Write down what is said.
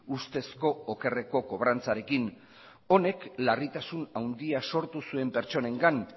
ustezko okerreko kobrantzarekin honek larritasun handia sortu zuen pertsonengan